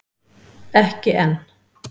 Ekki enn!